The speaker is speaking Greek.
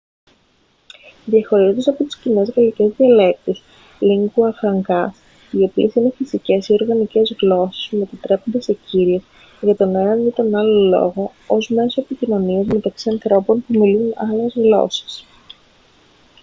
διαχωρίζονται από τις κοινές γαλλικές διαλέκτους lingua francas οι οποίες είναι φυσικές ή οργανικές γλώσσες που μετατρέπονται σε κύριες για τον ένα ή τον άλλο λόγο ως μέσο επικοινωνίας μεταξύ ανθρώπων που μιλούν άλλες γλώσσες